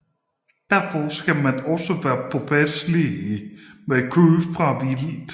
Derfor skal man også være påpasselig med kød fra vildt